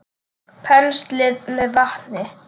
Penslið með vatni.